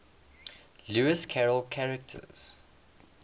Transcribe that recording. lewis carroll characters